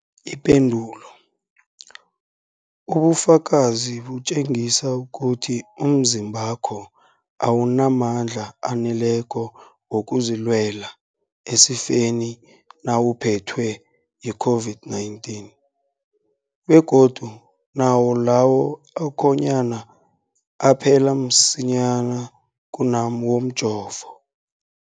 Ipendulo, ubufakazi butjengisa ukuthi umzimbakho awunamandla aneleko wokuzilwela esifeni nawuphethwe yi-COVID-19, begodu nawo lawo akhonyana aphela msinyana kunawomjovo.